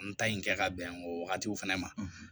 N ta in kɛ ka bɛn o wagatiw fɛnɛ ma